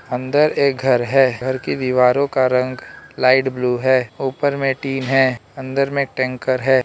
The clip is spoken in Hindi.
अंदर एक घर है घर की दीवारों का रंग लाइट ब्लू है ऊपर में टीन है अंदर में टैंकर है।